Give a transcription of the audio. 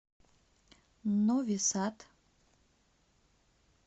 нови сад